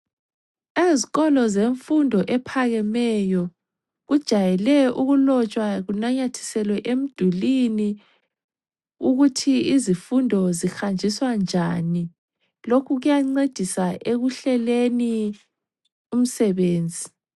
Ezikolo zemfundo ephakemeyo kujayele ukulotshwa kunanyathiselwe emdulwini ukuthi izifundo zihanjiswa njani. Lokhu kuyancedisa ekuhleleni umsebenzi.